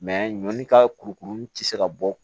ɲɔni ka kurukuru ti se ka bɔ